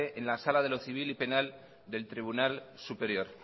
en la sala de lo civil y penal del tribunal superior